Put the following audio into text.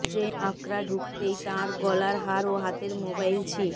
train Akra ঢুকতেই তাঁর গলার হার ও হাতের মোবাইল ছি